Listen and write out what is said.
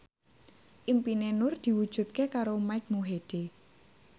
impine Nur diwujudke karo Mike Mohede